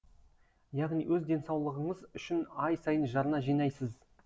яғни өз денсаулығыңыз үшін ай сайын жарна жинайсыз